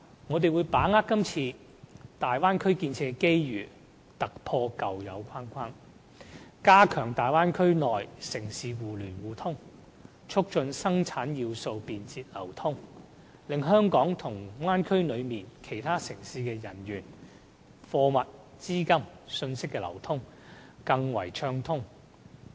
我們會把握今次大灣區建設的機遇，突破舊有框框，加強大灣區內城市互聯互通，促進生產要素便捷流通，使香港與大灣區內其他城市的人員、貨物、資金、信息的流通更為暢通。